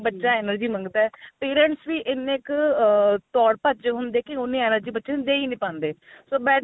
ਬੱਚਾ energy ਮੰਗਦਾ parents ਵੀ ਇੰਨੇ ਕ ah ਦੋੜ ਭੱਜ ਚ ਹੁੰਦੇ ਕੀ ਉਨੀਂ energy ਬੱਚੇ ਨੂੰ ਦੇ ਹੀ ਨਹੀਂ ਪਾਂਦੇ so better